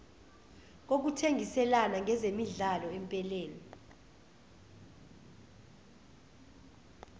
kokuthengiselana ngezemidlalo empeleni